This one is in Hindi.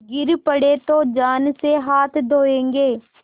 गिर पड़े तो जान से हाथ धोयेंगे